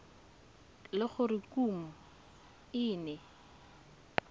le gore kumo e ne